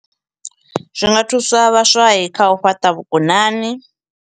Zwi nga thusa vhaswa khau fhaṱa vhukonani.